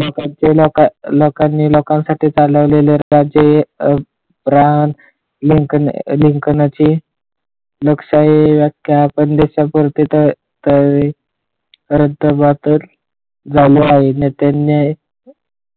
नेत्यांनी